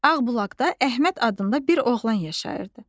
Ağbulaqda Əhməd adında bir oğlan yaşayırdı.